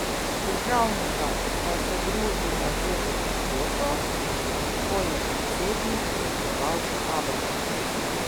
Državnika sta se družila že v soboto, ko je predsednik praznoval abrahama.